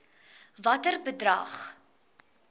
watter bedrag